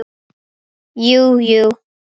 Jú jú.